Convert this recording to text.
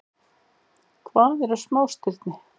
Hvað eru smástirni?